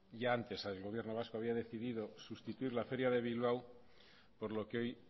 ya antes el gobierno vasco había decidido sustituir la feria de bilbao por lo que hoy